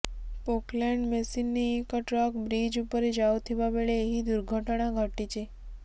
Poclain machine ନେଇ ଏକ truck bridge ଉପରେ ଯାଉଥିବା ବେଳେ ଏହି ଦୁର୍ଘଟଣା ଘଟିଛି